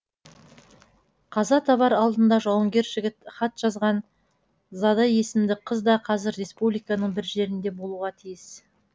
қаза табар алдында жауынгер жігіт хат жазған зада есімді қыз да қазір республиканың бір жерінде болуға тиіс